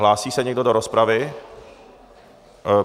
Hlásí se někdo do rozpravy?